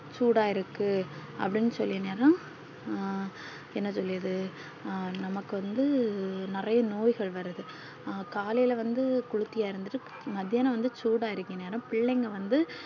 சூடா இருக்கு அப்டி சொல்லினதா ஹம் என்ன சொல்லியது நமக்கு வந்து நிறைய நோய்கள் வருது காலைல வந்து கொளித்து இறங்கி மதியானம் வந்து சூடா இருக்கானே பிள்ளைகள் வந்து